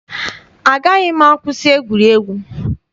Agaghị m akwụsị egwuregwu.